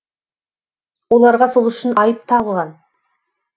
оларға сол үшін айып тағылған